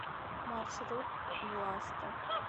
маршрут власта